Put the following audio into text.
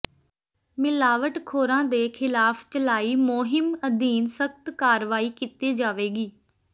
ਮਿਲਾਵਟਖੋਰਾਂ ਦੇ ਖਿਲਾਫ ਚਲਾਈ ਮੁਹਿੰਮ ਅਧੀਨ ਸਖਤ ਕਾਰਵਾਈ ਕੀਤੀ ਜਾਵੇਗੀ